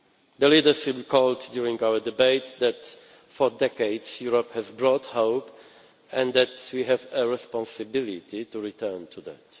The leaders recalled during our debate that for decades Europe has brought hope and that we have a responsibility to return to